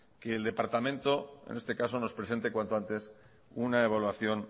que el departamento nos presente cuanto antes una evaluación